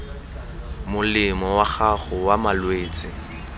molemo wa gago wa malwetse